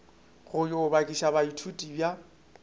go yo bakiša baithuti ba